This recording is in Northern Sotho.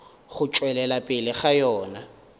go tšwelela pele ga yona